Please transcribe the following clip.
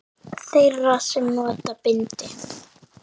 Þeirra sem nota bindi?